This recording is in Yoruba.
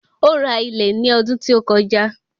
Ó ra ilẹ̀ ní ọdún tí ó kọjá.